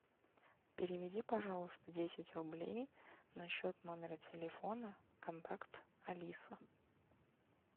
переведи пожалуйста десять рублей на счет номера телефона контакт алиса